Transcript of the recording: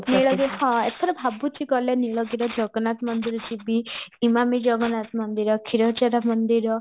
ନୀଳଗିରି ହଁ ଏଥର ଭାବୁଚି ଗଲେବ ନୀଳଗିରିରେ ଜଗନ୍ନାଥ ମନ୍ଦିର ଯିବି ଏମମାମି ଜଗନ୍ନାଥ ମନ୍ଦିର କ୍ଷୀର ଚୋରା ମନ୍ଦିର